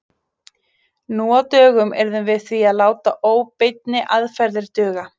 Nú á dögum yrðum við því að láta óbeinni aðferðir duga.